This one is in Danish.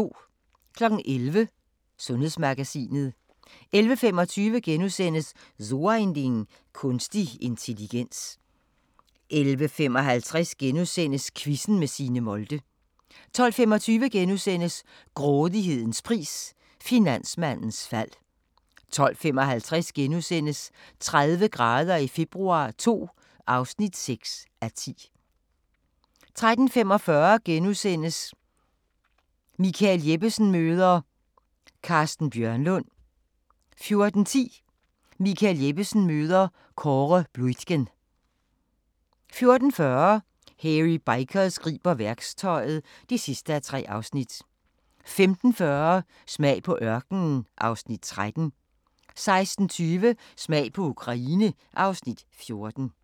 11:00: Sundhedsmagasinet 11:25: So ein Ding: Kunstig intelligens * 11:55: Quizzen med Signe Molde * 12:25: Grådighedens pris – finansmandens fald * 12:55: 30 grader i februar II (6:10)* 13:45: Michael Jeppesen møder ... Carsten Bjørnlund * 14:10: Michael Jeppesen møder ... Kåre Bluitgen 14:40: Hairy Bikers griber værktøjet (3:3) 15:40: Smag på ørkenen (Afs. 13) 16:20: Smag på Ukraine (Afs. 14)